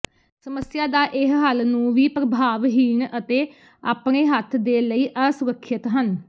ਸਮੱਸਿਆ ਦਾ ਇਹ ਹੱਲ ਨੂੰ ਵੀ ਪ੍ਰਭਾਵਹੀਣ ਅਤੇ ਆਪਣੇ ਹੱਥ ਦੇ ਲਈ ਅਸੁਰੱਖਿਅਤ ਹਨ